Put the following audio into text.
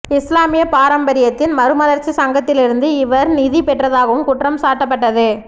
இஸ்லாமிய பாரம்பரியத்தின் மறுமலர்ச்சி சங்கத்திலிருந்து இவர் நிதி பெற்றதாகவும் குற்றம் சாட்டப்பட்டது